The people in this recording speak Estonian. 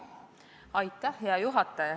Hea juhataja!